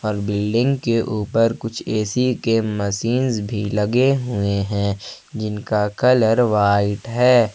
Building के ऊपर कुछ ए_सी के मसीनस भी लगे हुए हैं जिनका कलर व्हाइट है।